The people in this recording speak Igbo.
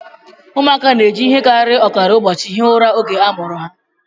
Ụmụaka na-eji ihe karịrị ọkara ụbọchị hie ụra oge a mụrụ ha